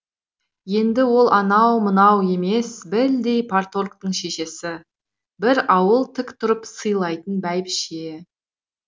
енді ол анау мынау емес білдей парторгтың шешесі бір ауыл тік тұрып сыйлайтын бәйбіше